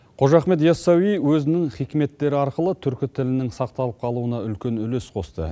қожа ахмет ясауи өзінің хикметтері арқылы түркі тілінің сақталып қалуына үлкен үлес қосты